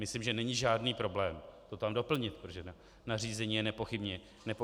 Myslím, že není žádný problém to tam doplnit, protože nařízení je nepochybně hotovo.